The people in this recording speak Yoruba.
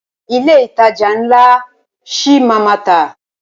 Ilé ìtajà ńlá ṣi máa a má tà.